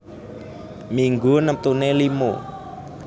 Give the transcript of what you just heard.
Minggu neptune limo